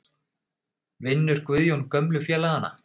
Vinnur Guðjón gömlu félagana?